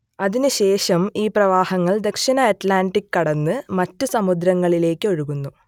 അതിനുശേഷം ഈ പ്രവാഹങ്ങൾ ദക്ഷിണ അറ്റ്‌ലാന്റിക് കടന്ന് മറ്റു സമുദ്രങ്ങളിലേക്ക് ഒഴുകുന്നു